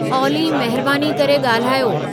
ऑली महिरबानी करे ॻाल्हायो